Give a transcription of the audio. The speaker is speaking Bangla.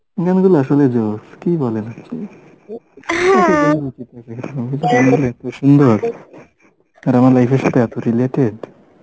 এই গানগুলো আসলে কি বলেন আপনি? আর আমার life এর সাথে এত related